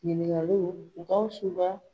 Ɲininkaliw Gawusu ka